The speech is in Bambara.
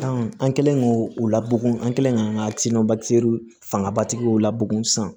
an kɛlen k'o labon an kɛlen ka an ka fangabatigiw la bugun sisan